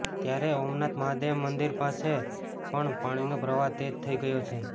ત્યારે ઓમનાથ મહાદેવ મંદિર પાસે પણ પાણીનો પ્રવાહ તેજ થઇ ગયો છે